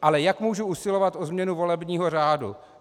Ale jak můžu usilovat o změnu volebního řádu?